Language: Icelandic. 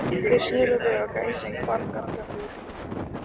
Þeir sneru við og gæsin hvarf gargandi út í loftið.